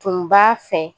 Tun b'a fɛ